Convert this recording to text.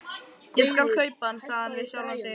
Ég skal kaupa hann, sagði hann við sjálfan sig.